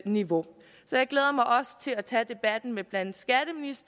niveau så jeg glæder mig til at tage debatten med blandt